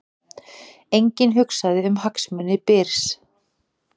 Enginn hugsaði um hagsmuni Byrs